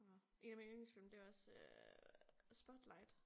Så 1 af mine yndlingsfilm det også øh Spotlight